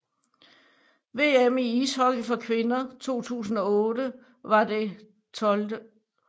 VM i ishockey for kvinder 2008 var det 12